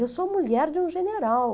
Eu sou mulher de um general.